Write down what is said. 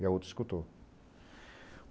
E a outra escutou.